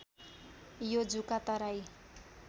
यो जुका तराई